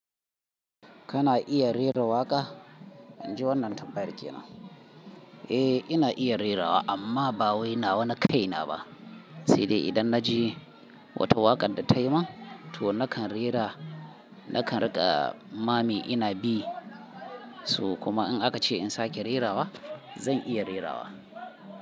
Kana iya rera waƙa? In ji wannan tambayar ke nan. A ina iya rerawa amma ba wai nawa na kai na ba. Sai dai idan na ji wata waƙar da tayi min, to nakan rera, nakan riƙa mami ina bi. So kuma in aka ce in sake rerawa, zan iya rerawa.